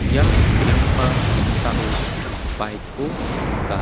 ia nikenggipa noksao bike-ko nika.